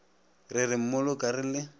re re mmoloka re le